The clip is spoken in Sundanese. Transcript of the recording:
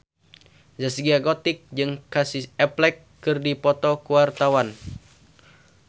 Zaskia Gotik jeung Casey Affleck keur dipoto ku wartawan